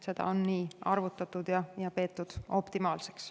Seda on arvutatud ja peetud niimoodi optimaalseks.